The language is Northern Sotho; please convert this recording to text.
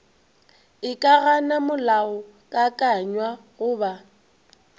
e ka gana molaokakanywa goba